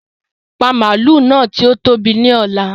Pa màálù tí ó tóbi náà ni ọ̀la!